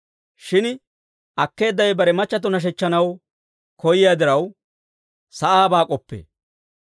Shin akkeeddawe bare machchatto nashechchanaw koyyiyaa diraw, sa'aabaa k'oppee.